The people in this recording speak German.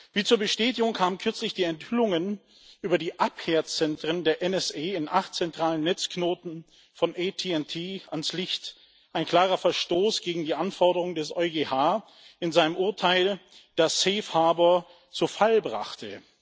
Wie zur Bestätigung kamen kürzlich die Enthüllungen über die Abhörzentren der NSA in acht zentralen Netzknoten von ATT ans Licht ein klarer Verstoß gegen die Anforderungen des EuGH in seinem Urteil, das zu Fall brachte.